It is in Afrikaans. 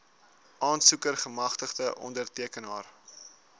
aansoeker gemagtigde ondertekenaar